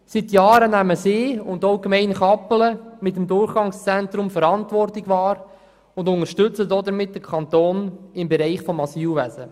Lyss und auch die Gemeinde Kappelen nehmen seit Jahren mit dem Durchgangszentrum Verantwortung wahr und unterstützen damit den Kanton im Bereich des Asylwesens.